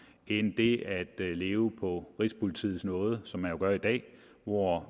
end det at leve på rigspolitiets nåde som man gør i dag hvor